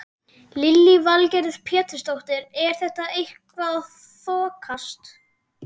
Lillý Valgerður Pétursdóttir: Er þetta eitthvað að þokast?